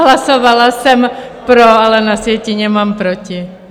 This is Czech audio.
Hlasovala jsem pro, ale na sjetině mám proti.